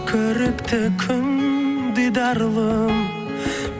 көрікті күн дидарлым